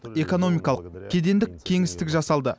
экономикалық кедендік кеңістік жасалды